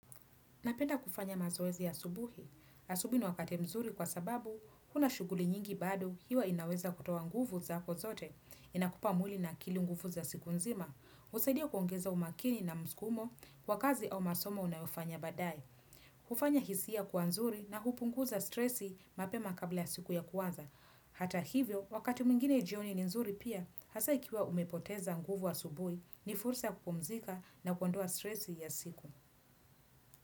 Napenda kufanya mazoezi asubuhi. Asubuhi ni wakati mzuri kwa sababu, huna shuguli nyingi bado huwa inaweza kutoa nguvu zako zote. Inakupa mwili na kila nguvu za siku nzima. Husaidia kuongeza umakini na msukumo kwa kazi au masomo unayofanya badae hufanya hisia kuwa nzuri na hupunguza stresi mapema kabla siku kuanza. Hata hivyo, wakati mwingine jioni ni nzuri pia, hasa ikiwa umepoteza nguvu asubuhi ni fursa kupumzika na kuandoa stresi ya siku.